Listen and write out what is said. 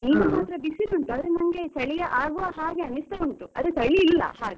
ಈಗ ಮಾತ್ರ ಬಿಸಿಲು ಉಂಟು ಆದ್ರೆ ನಂಗೆ ಚಳಿ ಆಗುವ ಹಾಗೆ ಅನಿಸ್ತಾ ಉಂಟು ಆದ್ರೆ ಚಳಿ ಇಲ್ಲ ಹಾಗೆ.